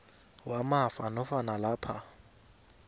yamafa nofana lapha